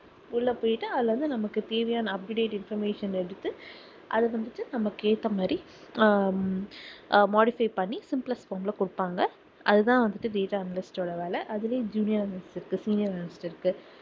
உள்ள போய்ட்டு அதுல வந்து நமக்கு தேவையான up to date information அ எடுத்து அதை வந்துட்டு நமக்கு ஏத்த மாதிரி ஹம் ஆஹ் modify பண்ணி simplest form ல குடுப்பாங்க அது தான் வந்துட்டு data analyst ஓட வேலை அதுலேயும் junior analyst இருக்கு senior analyst இருக்கு